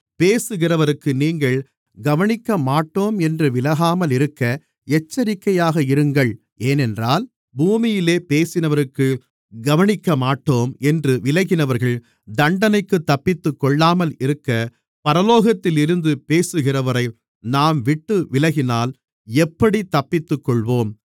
பேசுகிறவருக்கு நீங்கள் கவனிக்கமாட்டோம் என்று விலகாமல் இருக்க எச்சரிக்கையாக இருங்கள் ஏனென்றால் பூமியிலே பேசினவருக்கு கவனிக்கமாட்டோம் என்று விலகினவர்கள் தண்டனைக்குத் தப்பித்துக்கொள்ளாமல் இருக்க பரலோகத்தில் இருந்து பேசுகிறவரை நாம் விட்டுவிலகினால் எப்படித் தப்பித்துக்கொள்ளுவோம்